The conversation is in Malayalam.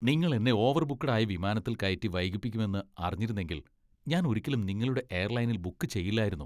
നിങ്ങൾ എന്നെ ഓവർബുക്ഡ് ആയ വിമാനത്തിൽ കയറ്റി വൈകിപ്പിക്കുമെന്ന് അറിഞ്ഞിരുന്നെങ്കിൽ ഞാൻ ഒരിക്കലും നിങ്ങളുടെ എയർലൈനിൽ ബുക്ക് ചെയ്യില്ലായിരുന്നു.